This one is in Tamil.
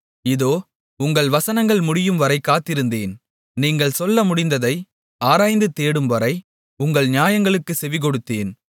இதோ உங்கள் வசனங்கள் முடியும்வரை காத்திருந்தேன் நீங்கள் சொல்ல முடிந்ததை ஆராய்ந்து தேடும்வரை உங்கள் நியாயங்களுக்குச் செவிகொடுத்தேன்